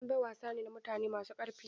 Dambe wasa ne na mutane masu karfi.